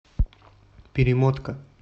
перемотка